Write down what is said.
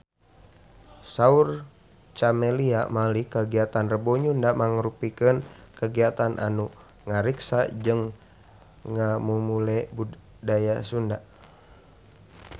Saur Camelia Malik kagiatan Rebo Nyunda mangrupikeun kagiatan anu ngariksa jeung ngamumule budaya Sunda